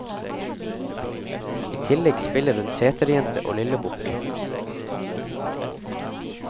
I tillegg spiller hun seterjente og lillebukk.